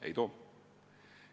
Ei too.